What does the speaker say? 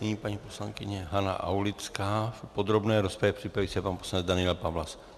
Nyní paní poslankyně Hana Aulická v podrobné rozpravě, připraví se pan poslanec Daniel Pawlas.